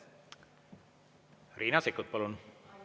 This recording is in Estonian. Riina Sikkut, palun!